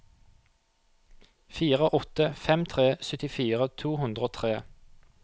fire åtte fem tre syttifire to hundre og tre